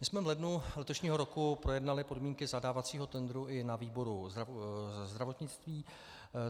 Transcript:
My jsme v lednu letošního roku projednali podmínky zadávacího tendru i na výboru zdravotnictví.